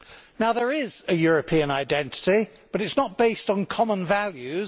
Now, there is a European identity, but it is not based on common values